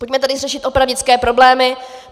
Pojďme tady řešit opravdické problémy.